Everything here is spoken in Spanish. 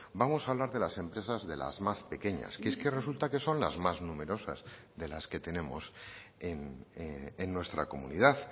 vamos a hablar de las empresas de las más pequeñas que es que resulta que son las más numerosas de las que tenemos en nuestra comunidad